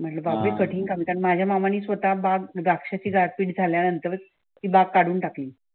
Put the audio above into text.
म्हटल बाप रे कठीण काम कारण माझ्या मामाने स्वतः बाग द्राक्ष गारपीट झाल्यानंत ती बाग काढून टाकली.